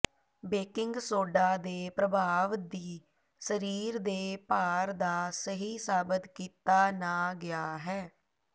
baking soda ਦੇ ਪ੍ਰਭਾਵ ਦੀ ਸਰੀਰ ਦੇ ਭਾਰ ਦਾ ਸਹੀ ਸਾਬਤ ਕੀਤਾ ਨਾ ਗਿਆ ਹੈ